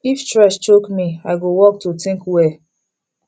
if stress choke me i go walk to think well